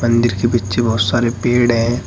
मंदिर के पीछे बहोत सारे पेड़ हैं।